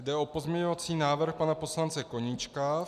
Jde o pozměňovací návrh pana poslance Koníčka.